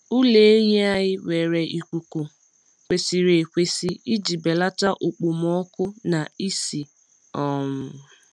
Ụlọ ehi anyị nwere ikuku kwesịrị ekwesị iji belata okpomọkụ na ísì. um